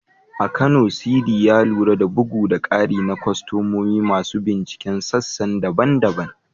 A Kano, Sidi, ya lura da bugu da ƙari na kwastomomi masu binciken sassan daban-daban.